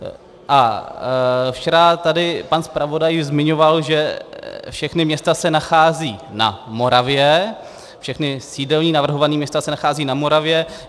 A včera tady pan zpravodaj zmiňoval, že všechna města se nachází na Moravě, všechna sídelní navrhovaná města se nachází na Moravě.